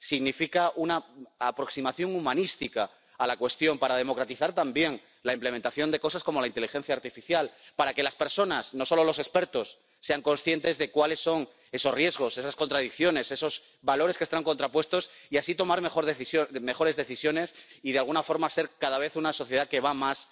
Significa una aproximación humanística a la cuestión para democratizar también la implementación de cosas como la inteligencia artificial para que las personas, no solo los expertos, sean conscientes de cuáles son esos riesgos, esas contradicciones, esos valores que están contrapuestos, y así tomar mejores decisiones y de alguna forma ser cada vez una sociedad que va más